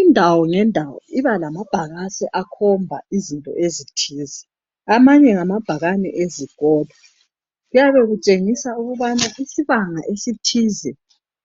Indawo ngendawo ibalama bhakane akhomba izinto ezithize amanye ngamabhakane ezikolo kuyabe kutshengisa ukuba isibanga esithize